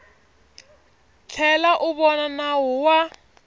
tlhela u vona nawu wa